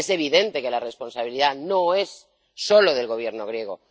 Es evidente que la responsabilidad no es solo del Gobierno griego.